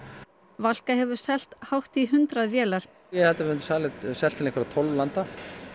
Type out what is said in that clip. Valka hefur selt hátt í hundrað vélar ég held að við höfum selt til einhverra tólf landa